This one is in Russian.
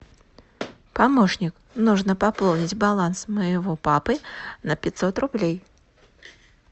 помощник нужно пополнить баланс моего папы на пятьсот рублей